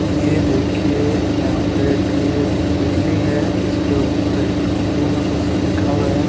ये देखिए यहां पर एक बिल्डिंग है इसके ऊपर एक उर्दू में कुछ लिखा हुआ है।